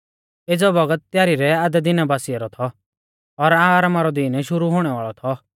एज़ौ बौगत तैयारी रै आधै दिना बासिऐ रौ थौ और आरामा रौ दीन शुरु हुणै वाल़ौ थौ